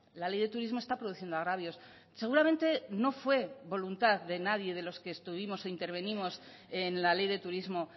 la ley de turismo está produciendo agravios seguramente no fue voluntad de nadie de los que estuvimos o intervenimos en la ley de turismo